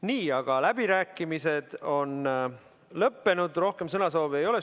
Nii, aga läbirääkimised on lõppenud, rohkem sõnasoove ei ole.